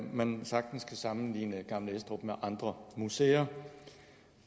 man sagtens kan sammenligne gammel estrup herregårdsmuseet med andre museer